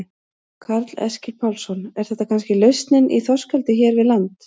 Karl Eskil Pálsson: Er þetta kannski lausnin í þorskeldi hér við land?